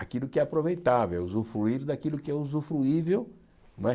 Aquilo que é aproveitável, usufruir daquilo que é usufruível. Não é